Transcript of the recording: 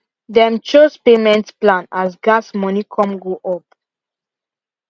them chose payment plan as gas moni come go up